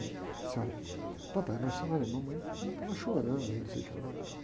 Eu disse, olha, papai, mas olha, mamãe estava chorando, e não sei o que lá e tal.